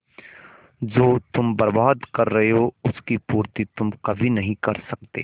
जो तुम बर्बाद कर रहे हो उसकी पूर्ति तुम कभी नहीं कर सकते